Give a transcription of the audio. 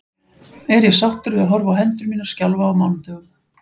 Er ég sáttur við að horfa á hendur mínar skjálfa á mánudögum?